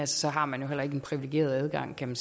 så har man jo heller ikke en privilegeret adgang kan